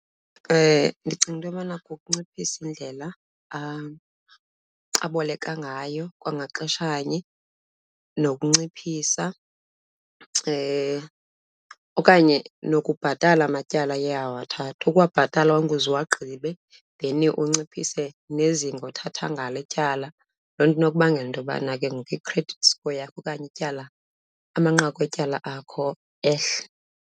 Ndicinga into yobana kukunciphisa indlela aboleka ngayo, kwangaxeshanye nokunciphisa okanye nokubhatala matyala aye awathatha. Ukuwabhatala onke uze uwagqibe, then unciphise nezinga othatha ngalo ityala. Loo nto inokubangela into yobana ke ngoku i-credit score yakho okanye ityala, amanqaku etyala akho ehle.